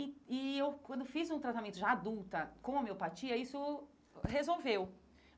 E e eu, quando fiz um tratamento já adulta com a miopatia, isso resolveu.